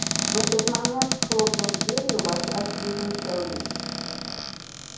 в этот момент хлопнув дверью вошла сьюзен кэлвин